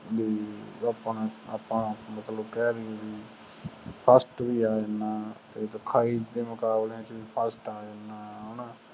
B ਆਪਾਂ ਮਤਲਬ ਕਹਿ ਦੀਏ ਵੀ first ਵੀ ਆ ਜਾਣਾ ਲਿਖਾਈ ਦੇ ਮੁਕਾਬਲਿਆਂ ਚ ਵੀ first ਆ ਜਾਣਾ ਹਣਾ